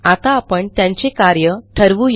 आता आपण त्यांचे कार्य ठरवू या